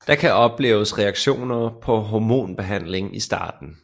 Der kan opleves reaktioner på hormonbehandlingen i starten